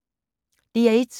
DR1